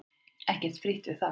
Ekki frítt við það!